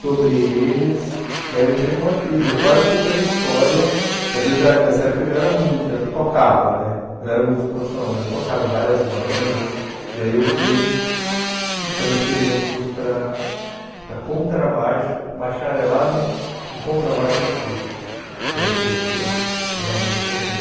sobre eles, e aí eu entrei numa crise, eu quase fui para a história, mas eu já nessa época eu já era músico, eu tocava, né não era músico profissional, mas eu tocava em várias bandas, e aí eu fui e transferi meu curso para para contrabaixo, bacharelado em em contrabaixo acústico, que é o curso que eu que eu realmente formei.